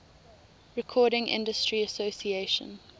recording industry association